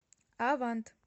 авант